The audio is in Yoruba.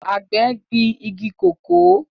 Àgbẹ̀ gbin igi kòkó